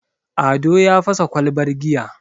ado ya fasa kwalbar giya